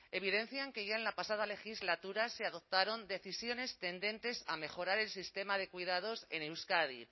evidencian que ya en la pasada legislatura se adoptaron decisiones tendentes a mejorar el sistema de cuidados en euskadi